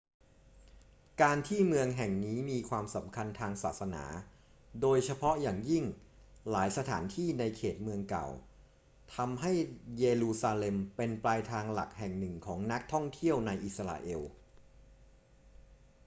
การที่เมืองแห่งนี้มีความสำคัญทางศาสนา โดยเฉพาะอย่างยิ่งหลายสถานที่ในเขตเมืองเก่า ทำให้เยรูซาเล็มเป็นปลายทางหลักแห่งหนึ่งของนักท่องเที่ยวในอิสราเอล